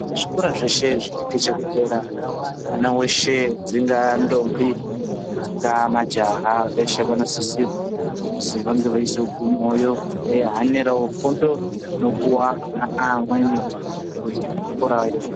Zvikora zvese zvichikwidza kudera, mwana weshe, dzingaandombi, dzingaamajaha, veshe vanosise kuzi vange veizogumeyowo, veihanirawo fundo inopuwa ana aamweni kuzvikorayo.